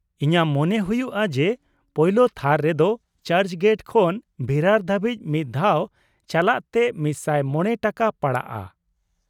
ᱤᱧᱟᱹᱜ ᱢᱚᱱᱮ ᱦᱩᱭᱩᱜᱼᱟ ᱡᱮ ᱯᱳᱭᱞᱳ ᱛᱷᱟᱨ ᱨᱮᱫᱚ ᱪᱟᱨᱪ ᱜᱮᱴ ᱠᱷᱚᱱ ᱵᱷᱤᱨᱟᱨ ᱫᱷᱟᱹᱵᱤᱡ ᱢᱤᱫ ᱫᱷᱟᱣ ᱪᱟᱞᱟᱜ ᱛᱮ ᱑᱐᱕ ᱴᱟᱠᱟ ᱯᱟᱲᱟᱜᱼᱟ ᱾